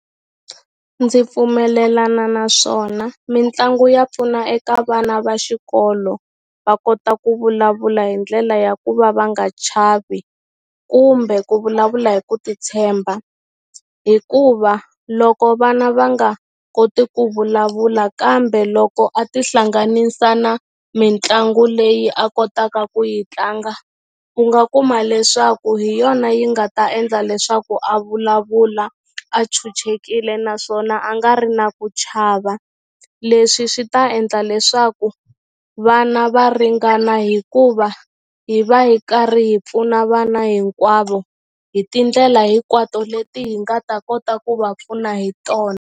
Ndzi pfumelelana naswona mitlangu ya pfuna eka vana va xikolo va kota ku vulavula hi ndlela ya ku va va nga chavi kumbe ku vulavula hi ku titshemba hikuva loko vana va nga koti ku vulavula kambe loko a tihlanganisa na mitlangu leyi a kotaka ku yi tlanga u nga kuma leswaku hi yona yi nga ta endla leswaku a vulavula a chuchekile naswona a nga ri na ku chava leswi swi ta endla leswaku vana va ringana hikuva hi va hi karhi hi pfuna vana hinkwavo hi tindlela hinkwato leti hi nga ta kota ku va pfuna hi tona.